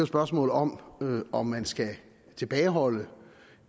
spørgsmål om om man skal tilbageholde